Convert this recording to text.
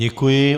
Děkuji.